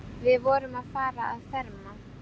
Við vorum að fara að ferma.